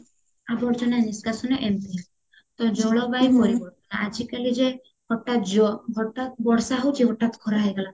ଆବର୍ଜନା ନିଷ୍କାସନ ଏମତି ତ ଜଳବାୟୁ ଆଜି କାଲି ଯେ ହଟାତ ଜ ହଟାତ ବର୍ଷା ହଉଚି ହଟାତ ଖରା ହେଇଗଲା